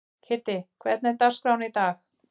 Kiddi, hvernig er dagskráin í dag?